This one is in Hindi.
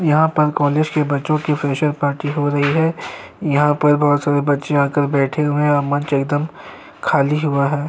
यहाँ पर कॉलेज के बच्चों की फ्रेशर पार्टी हो रही है यहाँ पर बहोत सारे बच्चे आकर बैठे हुए हैं और मंच एकदम खाली हुआ है।